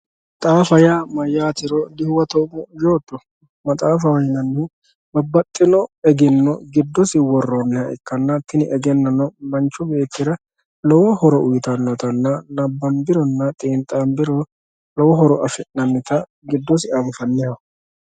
maxaafaho yaa mayyaatero dibuuxoommo yootto maxaafaho yinannihu babbaxxino egenno giddosi worroonniha ikkanna tini egennono manchu beettira lowo horo uyiitannotanna nabanbironna xiinxaanbiro lowo horo afi'nannita giddose anfanniho.